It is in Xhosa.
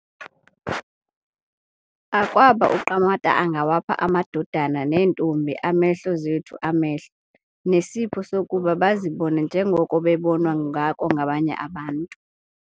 Akwaba uQamata angawapha amadodana neentombi amehlo zethu amehlo, nesipho sokuba bazibone njengoko bebonwa ngako ngabanye abantu.